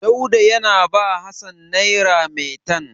Dauda yana ba Hassan nera maitan.